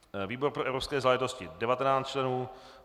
výbor pro evropské záležitosti 19 členů